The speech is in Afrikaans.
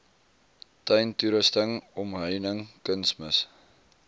tuintoerusting omheining kunsmis